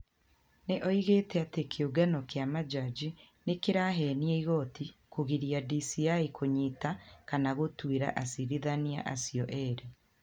Nĩ augĩte ati kiũngano kia majaji ni ki ra henia igooti kũgiria DCĩ kũnyiita kana gũtuĩra acirithania acio erĩ.